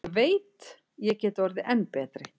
Ég veit ég get orðið enn betri.